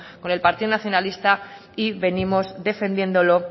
con el partido nacionalista y venimos defendiéndolo